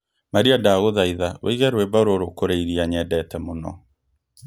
Maria ndagũthaitha ũige rwĩmbo rũrũ kũũrĩ irĩa nyendete mũno